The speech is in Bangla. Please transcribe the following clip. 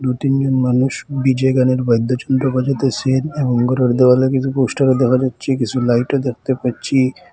দু-তিনজন মানুষ ডি_জে গানের বাইদ্য যন্ত্র বাজাতেসেন এবং ঘরের দেওয়ালে কিসু পোস্টারও দেখা যাচ্ছে কিসু লাইটও দেখতে পাচ্ছি।